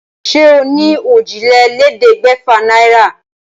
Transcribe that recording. Ṣé o ní òjìlélẹ́ẹ̀ẹ́dẹ́gbẹ́fà náírà?